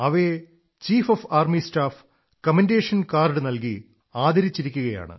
അവയെ chief of army staff commendation card നല്കി ആദരിച്ചിരിക്കയാണ്